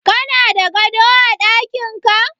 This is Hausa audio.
Kana da gado a daƙinka?